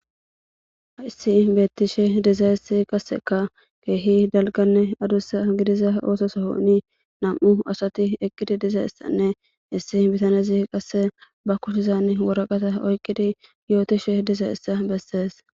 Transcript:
Aissi beettishe dizayessi qasseka keehi dalganne adussa gidiza oososohoni nam'u asati eqqidi dizay issanne issi bitanezi qasse ba kushizan woraqata oyqqidi yootishe dizayessa bessees.